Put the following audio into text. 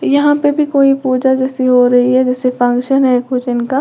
यहां पे भी कोई पूजा जैसी हो रही है जैसे फंक्शन है भोजन का।